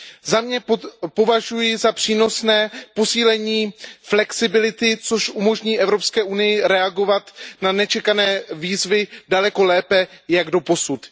Za sebe považuji za přínosné posílení flexibility, což umožní Evropské unii reagovat na nečekané výzvy daleko lépe než doposud.